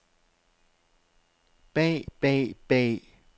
bag bag bag